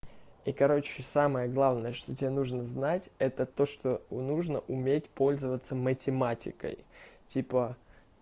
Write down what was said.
и короче самое главное что тебе нужно знать это то что нужно уметь пользоваться математикой типа